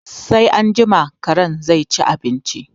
Sai anjima karen zai ci abinci